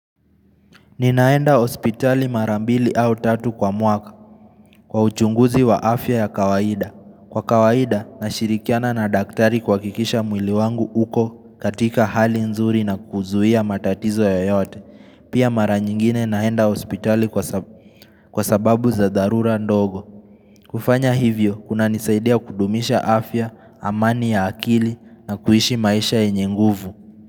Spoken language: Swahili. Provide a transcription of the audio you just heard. Ninaenda hospitali mara mbili au tatu kwa mwaka kwa uchunguzi wa afya ya kawaida. Kwa kawaida, nashirikiana na daktari kuhakikisha mwili wangu uko katika hali nzuri na kuzuia matatizo yoyote. Pia mara nyingine naenda hospitali kwa sababu za dharura ndogo. Kufanya hivyo, kuna nisaidia kudumisha afya, amani ya akili na kuishi maisha yenye nguvu.